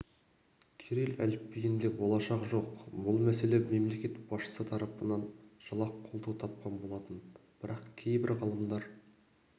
кирилл әліпбиінде болашақ жоқ бұл мәселе мемлекет басшысы тарапынан жылы-ақ қолдау тапқан болатын бірақ кейбір ғалымдар